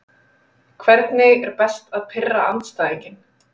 Hvernig er best að pirra andstæðinginn?